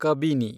Kabini